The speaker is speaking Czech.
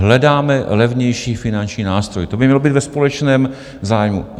Hledáme levnější finanční nástroj, to by mělo být ve společném zájmu.